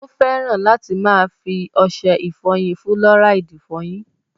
Ó fẹ́ràn láti máa fi ọṣẹ ìfọyín fúlọ́ráìdì fọyín.